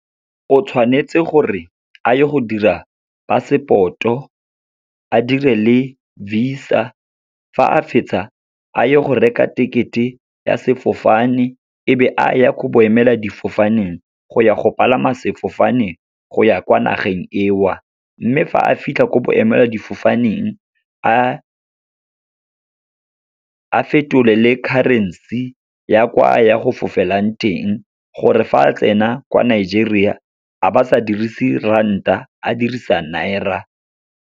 O tshwanetse gore a ye go dira passport-o, a dire le visa, fa a fetsa a ye go reka ticket-e ya sefofane, e be a ya ko bo emeladifofaneng, go ya go palama sefofane go ya kwa nageng eo. Mme fa a fitlha ko boemeladifofaneng, a fetolele currency ya kwa a yang go fofelang teng, gore fa a tsena kwa Nigeria a ba sa dirise ranta, a dirisa naira.